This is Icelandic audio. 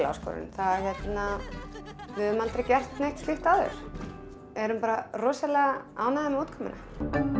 áskorun við höfðum aldrei gert neitt slíkt áður en erum bara rosalega ánægðar með útkomuna